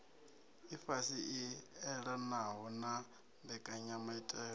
ifhasi i elanaho na mbekanyamaitele